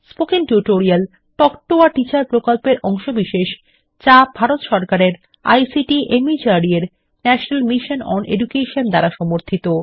spoken tutorial talk to a teacher প্রকল্পের অংশবিশেষ যা ভারত সরকারের আইসিটি মাহর্দ এর ন্যাশনাল মিশন ওন এডুকেশন দ্বারা সমর্থিত